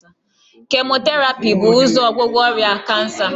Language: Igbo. Kemoterapi bu ụzọ ọgwụgwọ ọrịa kansa